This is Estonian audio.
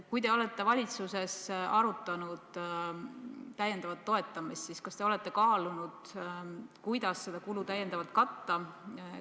Kui te olete valitsuses arutanud täiendavat toetamist, siis kas te olete kaalunud, kuidas seda kulu täiendavalt katta?